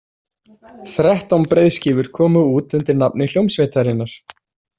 Þrettán breiðskífur komu út undir nafni hljómsveitarinnar.